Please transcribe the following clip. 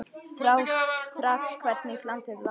Sá strax hvernig landið lá.